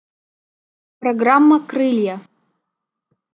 программа крылья